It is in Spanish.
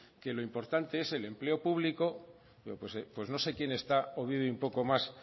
que lo importante es el empleo público pues no sé quién está o vive un poco más